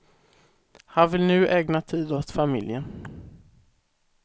Han vill nu ägna tid åt familjen.